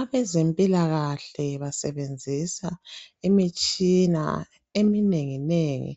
Abazempilakahle basebenzisa imitshina eminengi nengi